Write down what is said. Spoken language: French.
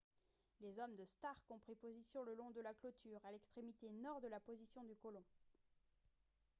les hommes de stark ont pris position le long de la clôture à l'extrémité nord de la position du colon